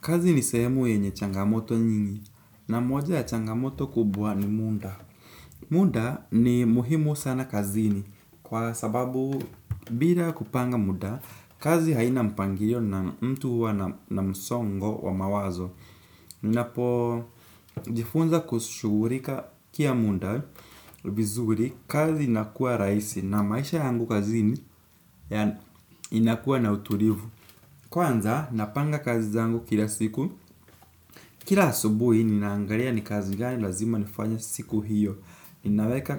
Kazi ni sehemu yenye changamoto nyingi. Na moja ya changamoto kubwa ni muda. Muda ni muhimu sana kazini. Kwa sababu bila kupanga muda kazi haina mpangilio na mtu huwa na msongo wa mawazo. Ninapo jifunza kushugurikia munda vizuri kazi inakuwa raisi. Na maisha yangu kazini inakuwa na utulivu. Kwanza napanga kazi zangu kila siku. Kila asubuhi ninaangalia ni kazi gani lazima nifanya siku hiyo. Ninaweka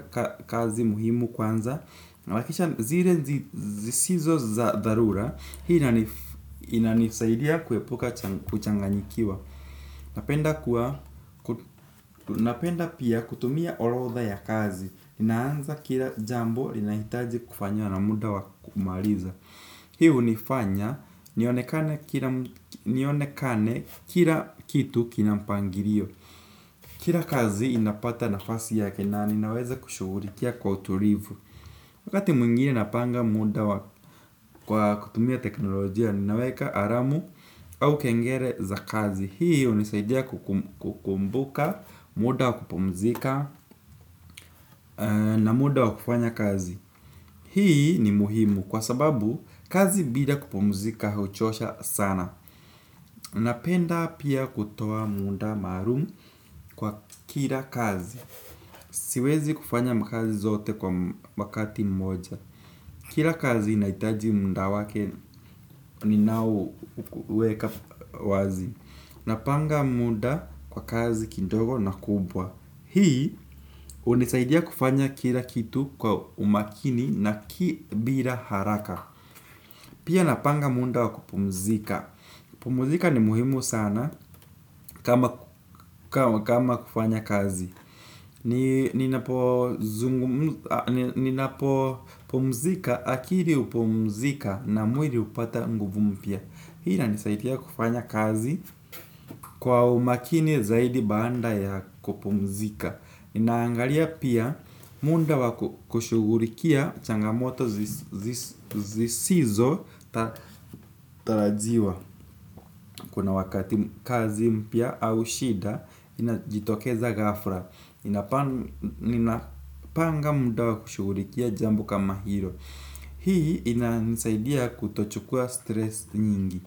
kazi muhimu kwanza. Nawakisha zile zisizo za dharura. Hii inanisaidia kuepuka kuchanganikiwa. Napenda pia kutumia horodha ya kazi. Ninaanza kila jambo linahitaji kufanywa na muda wakumaliza. Hii unifanya nionekane kila kitu kinapangilio. Kila kazi inapata nafasi yake na ninaweza kushugulikia kwa utulivu. Wakati mwingine napanga muda kwa kutumia teknolojia ninaweka alamu au kengele za kazi. Hii hunisaidia kukumbuka muda wakupumzika na muda wakufanya kazi. Hii ni muhimu kwa sababu kazi bila kupumuzika hauchosha sana. Unapenda pia kutoa muda maalum kwa kila kazi. Siwezi kufanya mkazi zote kwa wakati mmoja. Kila kazi inaitaji muda wake ni naoweka wazi. Napanga munda kwa kazi kindogo na kubwa. Hii hunisaidia kufanya kila kitu kwa umakini na ki bila haraka. Pia napanga mundda wakupumzika. Pumzika ni muhimu sana kama kufanya kazi. Ninapo pomzika akili hupumzika na mwili upata nguvu mpya. Hi inanisaidia kufanya kazi kwa umakini zaidi baada ya kupumzika. Inaangalia pia muda wakushugulikia changamoto zisizo tatarajiwa. Kuna wakati kazi mpya au shida inajitokeza gafla. Ina panga muda wakushugulikia jambo kama hilo. Hii inanisaidia kutochukua stress nyingi.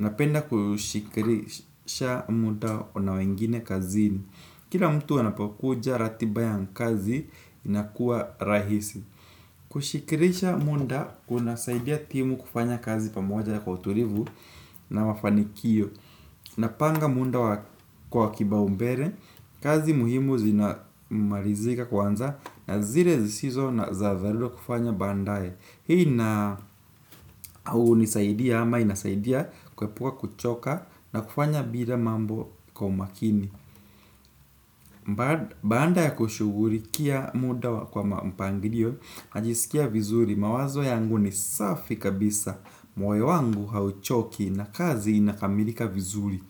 Ina penda kushikrisha muda wa nawengine kazini. Kila mtu anapokuja ratiba ya kazi inakuwa rahisi. Kushikirisha muda unasaidia timu kufanya kazi pamoja ya kwa utulivu na mafanikio. Napanga muda kwa kiba umble, kazi muhimu zinamalizika kwanza na zile zisizo na za dharura kufanya bandaye. Hii na au nisaidia ama inasaidia kuepuka kuchoka na kufanya bila mambo kwa umakini baada ya kushugulikia muda kwa mpangilio, najisikia vizuri, mawazo yangu ni safi kabisa. Moyo wangu hauchoki na kazi inakamilika vizuri.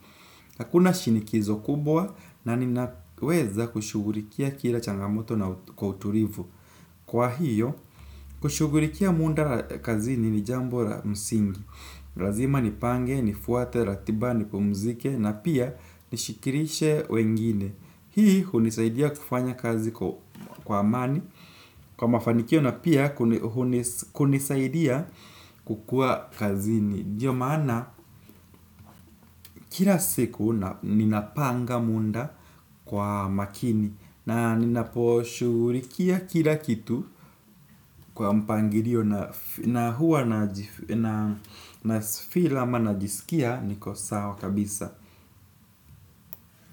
Hakuna shinikizo kubwa na ninaweza kushugulikia kila changamoto na kwa utulivu. Kwa hiyo, kushugulikia muda kazini ni jambo la msingi. Lazima nipange, nifuate, ratiba, nipumzike na pia nishikilishe wengine. Hii, hunisaidia kufanya kazi kwa amani. Kwa mafanikio na pia, hunisaidia kukuwa kazini ndio maana, kila siku, ninapanga munda kwa makini na ninaposhugulikia kila kitu kwa mpangilio na huwa na feel ama najisikia niko sawa kabisa.